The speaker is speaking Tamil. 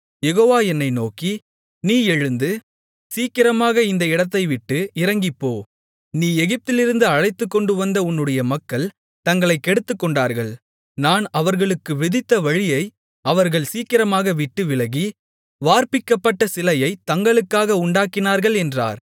யெகோவா என்னை நோக்கி நீ எழுந்து சீக்கிரமாக இந்த இடத்தைவிட்டு இறங்கிப்போ நீ எகிப்திலிருந்து அழைத்துக்கொண்டுவந்த உன்னுடைய மக்கள் தங்களைக் கெடுத்துக்கொண்டார்கள் நான் அவர்களுக்கு விதித்த வழியை அவர்கள் சீக்கிரமாக விட்டுவிலகி வார்ப்பிக்கப்பட்ட சிலையைத் தங்களுக்காக உண்டாக்கினார்கள் என்றார்